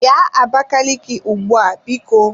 Bịa Abakaliki ugbu a biko!